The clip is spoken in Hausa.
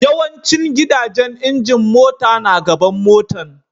Yawancin gidajen injin mota na gaban motan.